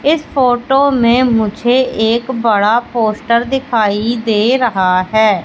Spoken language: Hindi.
इस फोटो में मुझे एक बड़ा पोस्टर दिखाई दे रहा है।